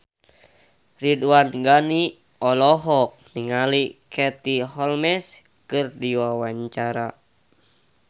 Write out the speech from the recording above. Ridwan Ghani olohok ningali Katie Holmes keur diwawancara